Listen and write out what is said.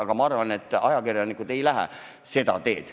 Aga ma arvan, et ajakirjanikud ei lähe seda teed.